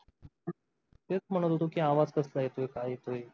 तेच म्हणत होतो कि आवाज कस काय येतॊय काय येतोय?